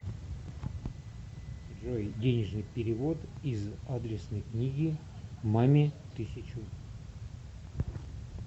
джой денежный перевод из адресной книги маме тысячу